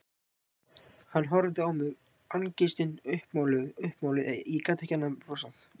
Hann horfði á mig, angistin uppmáluð, ég gat ekki annað en brosað.